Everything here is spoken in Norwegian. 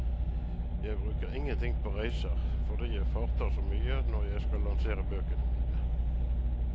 Jeg bruker ingenting på reiser, fordi jeg farter så mye når jeg skal lansere bøkene mine.